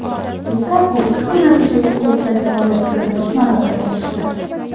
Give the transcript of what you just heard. Lukaku ushbu natijaga klubdagi faoliyatida birinchi marotaba erishdi .